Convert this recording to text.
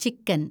ചിക്കന്‍